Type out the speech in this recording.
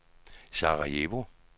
Sarajevo